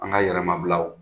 An ka yɛrɛmabilaw,